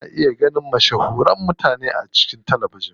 Ana iya ganin mashahuran mutane a cikin talabijin.